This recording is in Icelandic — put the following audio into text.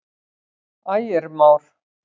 Ægir Már.